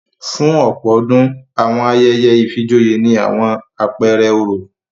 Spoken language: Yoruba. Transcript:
Fún ọ̀pọ̀ ọdún, àwọn ayẹyẹ ìfijoyé ní àwọn apẹẹrẹ oró